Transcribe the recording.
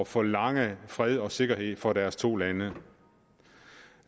forlange fred og sikkerhed for deres to lande